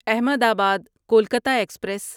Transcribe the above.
احمد آباد کولکتہ ایکسپریس